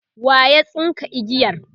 waya tsinka igiyar?